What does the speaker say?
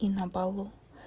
и на балу